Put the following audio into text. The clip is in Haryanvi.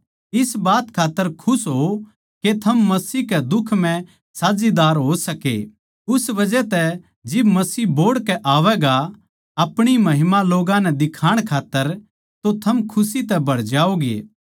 इस बात खात्तर खुश होओ के थम मसीह के दुख म्ह साझेदारी हो सके उस बजह तै जिब मसीह बोहड़ के आवैगा अपणी महिमा लोग्गां नै दिखाण खात्तर तो थम खुशी तै भर जाओगे